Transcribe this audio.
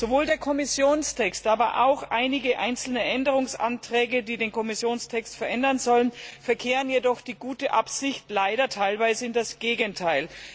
Sowohl der Kommissionstext als auch einige einzelne Änderungsanträge, die den Kommissionstext abändern sollen, verkehren jedoch die gute Absicht leider teilweise ins Gegenteil.